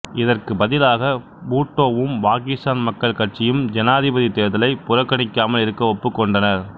இதற்கு பதிலாக பூட்டோவும் பாகிஸ்தான் மக்கள் கட்சியும் ஜனாதிபதி தேர்தலை புறகணிக்காமல் இருக்க ஒப்புக்கொண்டனர்